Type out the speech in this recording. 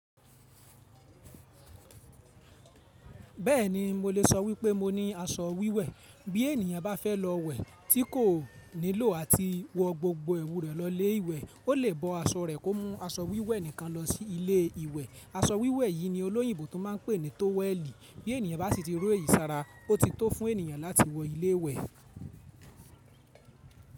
Bẹ́ẹ̀ni mo lè sọ wípé mo ní aṣọ wíwẹ̀, bí ènìyàn bá fẹ́ lọ wẹ̀ tí kò nílò láti wọ gbogbo ẹwù rẹ̀ lọ ilé ìwẹ̀, ó lè bọ aṣọ rẹ̀ kó mú aṣọ wíwẹ̀ nìkan lọ sí ilé ìwẹ̀. Aṣọ wíwẹ̀ yìí ni olóyìnbó tún ma ń pè ní tówẹ́ẹ̀lì. Bí ènìyàn bá ti ro eyi ìsara, ó ti tó fún ènìyàn láti wọ ilé ìwẹ̀.